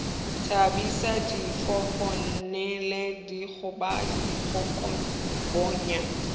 thabisa difofane le dikgoba dihlokaboya